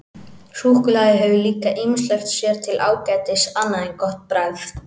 Súkkulaði hefur líka ýmislegt sér til ágætis annað en gott bragð.